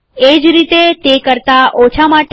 એ જ રીતે તે કરતાં ઓછા માટે